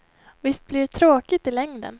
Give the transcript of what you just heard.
Visst blir det tråkigt i längden.